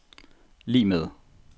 lig med